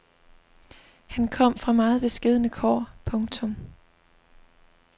Han kom fra meget beskedne kår. punktum